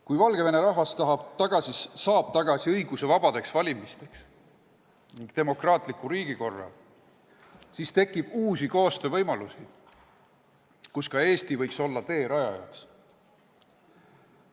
Kui Valgevene rahvas saab tagasi õiguse korraldada vabad valimised ning demokraatliku riigikorra, siis tekib uusi koostöövõimalusi, kus ka Eesti võiks olla teerajajaks.